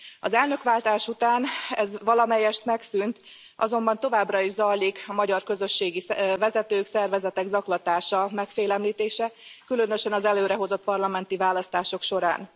Az elnökváltás után ez valamelyest megszűnt, azonban továbbra is zajlik a magyar közösségi vezetők, szervezetek zaklatása, megfélemlítése, különösen az előrehozott parlamenti választások során.